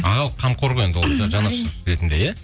ағалық қамқор ғой енді ретінде иә